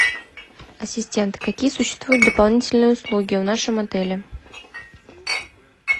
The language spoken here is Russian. ассистент какие существуют дополнительные услуги в нашем отеле